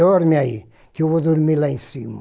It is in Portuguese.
Dorme aí, que eu vou dormir lá em cima.